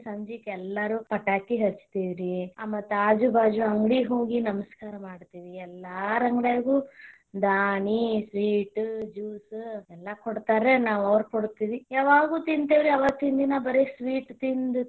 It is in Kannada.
ಸಂಜಿಕ ಎಲ್ಲಾರು ಪಟಾಕಿ ಹಚ್ತೀವಿ ರಿ ಆ ಮತ್ತ ಆಜು ಬಾಜು ಅಂಗ್ಡಿ ಹೋಗಿ ನಮಸ್ಕಾರ ಮಾಡ್ತೀವ್ರಿ ಎಲ್ಲಾರ ಅಂಗಡಿಯಾಗು ದಾನಿ sweet, juice ಎಲ್ಲಾ ಕೊಡ್ತಾರ ನಾವು ಅವ್ರ್ ಕೊಡ್ತೇವಿ ಯಾವಾಗೂ ತಿಂತೇವ್ ರಿ, ಅವತ್ತಿನ ದಿನಾ ಬರೆ sweet ತಿಂದ್